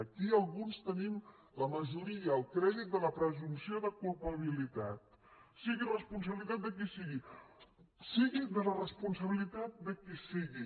aquí alguns tenim la majoria el crèdit de la presumpció de culpabilitat sigui responsabilitat de qui sigui sigui la responsabilitat de qui sigui